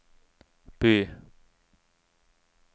by